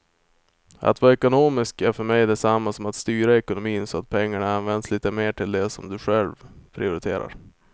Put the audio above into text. Att vara ekonomisk är för mig detsamma som att styra ekonomin så att pengarna används lite mer till det som du själv prioriterar.